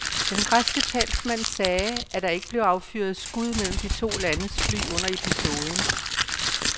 Den græske talsmand sagde, at der ikke blev affyret skud mellem de to landes fly under episoden.